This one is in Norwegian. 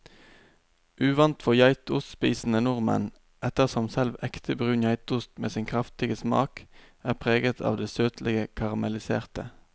Uvant for geitostspisende nordmenn, ettersom selv ekte brun geitost med sin kraftige smak er preget av det søtlige karamelliserte.